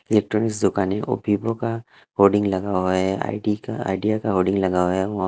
electronic दुकानें Vivo का hoarding लगा हुआ है आई_डी का आईडिया का होडिंग लगाया हुआ है वहां--